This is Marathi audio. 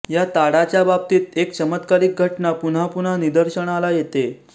या ताडाच्या बाबतीत एक चमत्कारिक घटना पुन्हा पुन्हा निदर्शनाला येते